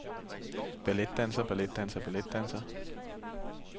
balletdanser balletdanser balletdanser